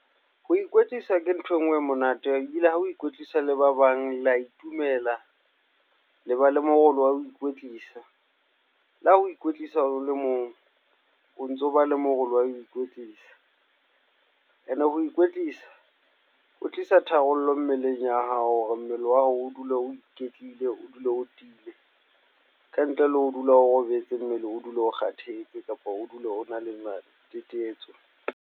Ho ikwetlisa ke ntho e nngwe e monate ebile ha o ikwetlisa le ba bang le a itumela, le ba le morolo wa ho ikwetlisa, la ha o ikwetlisa o le mong, o ntso ba le moralo wa ho ikwetlisa ene ho ikwetlisa ho tlisa tharollo mmeleng ya hao hore mmele wa hao o dule o iketlile, o dule o tiile, kantle le ho dula o robetse mmele o dule o kgathetse kapa o dule o na le matetetso.